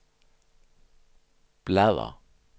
bladr